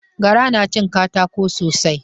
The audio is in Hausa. Gara na cin katako sosai.